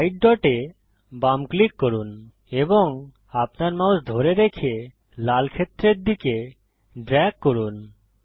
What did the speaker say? white dot এ বাম click করুন এবং আপনার মাউস ধরে রেখে লাল ক্ষেত্রের দিকে ড্রেগ করুন